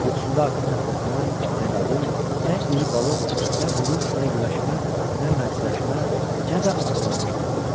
Yuxusunda artıq nə fırtına, nə qadın, nə iri balıq, nə vuruş, nə güləşmə, nə mərciləşmə, nə də arvadını görürdü.